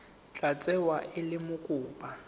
tla tsewa e le mokopa